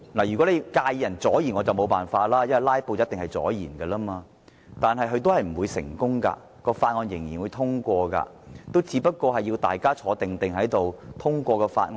如果他介意議員阻延議程，我也沒法子，因為"拉布"一定會阻延議程，但"拉布"是不會成功的，法案最終仍然會獲得通過，只要議員乖乖坐在席上，通過法案。